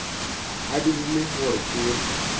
a dirile gore ke be